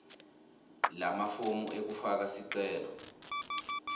lamafomu ekufaka sicelo